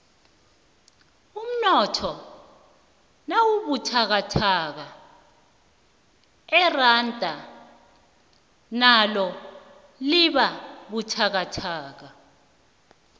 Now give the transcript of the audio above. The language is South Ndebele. umnotho nawubuthakathaka iranda nalo libabuthakathaka